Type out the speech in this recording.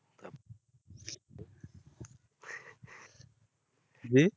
জি